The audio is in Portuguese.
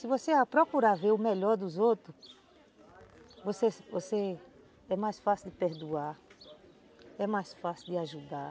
Se você procurar ver o melhor dos outros, você, você, é mais fácil de perdoar, é mais fácil de ajudar.